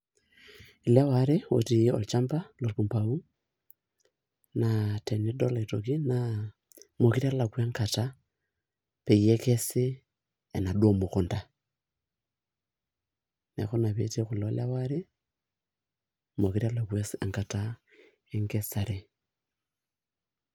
Ilewa aare ooti olchamba lokumbau, naa tenidol naa meekure alekua enkata peekesi enaduo mukunta. Neeku ina peetii kulo lewa aare meekure elakua enkata enkesare.